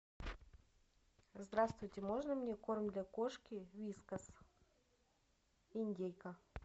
здравствуйте можно мне корм для кошки вискас индейка